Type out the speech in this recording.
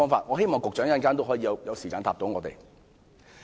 我希望局長稍後花時間回答我們。